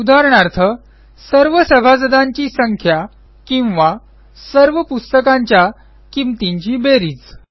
उदाहरणार्थ सर्व सभासदांची संख्या किंवा सर्व पुस्तकांच्या किंमतींची बेरीज